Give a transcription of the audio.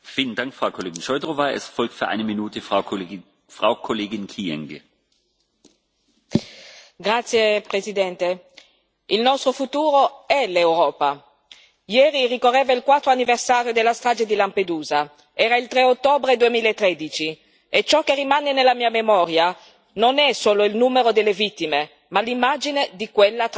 Signor Presidente, onorevoli colleghi, il nostro futuro è l'Europa. Ieri ricorreva il quarto anniversario della strage di Lampedusa era il 3 ottobre 2013 e ciò che rimane nella mia memoria non è solo il numero delle vittime, ma l'immagine di quella tragedia.